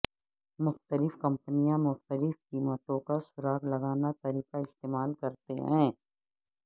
مختلف کمپنیاں مختلف قیمتوں کا سراغ لگانا طریقہ استعمال کرتے ہیں